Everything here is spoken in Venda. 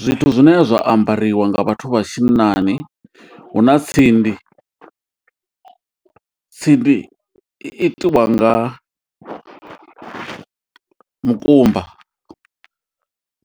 Zwithu zwine zwa ambariwa nga vhathu vha tshinnani huna tsindi. Tsindi i itiwa nga mukumba